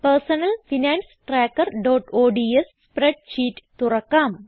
personal finance trackerഓഡ്സ് spreadsheet തുറക്കാം